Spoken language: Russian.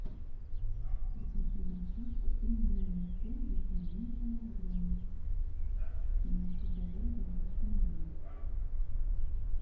закажи доставку пельменей цезарь один килограмм мясо говядина и свинина